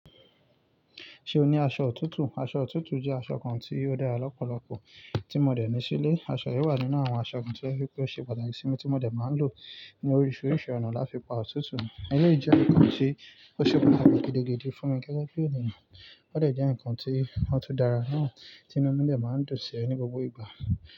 Ṣé o ní aṣọ òtútù? Aṣọ òtútù jẹ́ aṣọ kan tí ó dára lọ́pọ̀lọpọ̀ tí mo dẹ̀ ní sílé. Aṣọ yìí wà nínú àwọn aṣọ kan to jẹ pé ó ṣe pàtàkì sí mi tí mo dẹ̀ máa ń lò ní oríṣiríṣi ọ̀nà láti pa òtútù. Èleyí jẹ́ nǹkan tí ó ṣe pàtàkì gidigidi fún mi gẹ́gẹ́ bí ènìyàn. Ó dẹ̀ jẹ́ ǹkan tí ó tún dára náà tí inú mi dẹ̀ máa ń dùnsí ní gbogbo ìgbà.